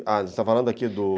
Ah, você está falando aqui do...